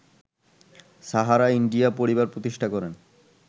Sahara India Pariwar প্রতিষ্ঠা করেন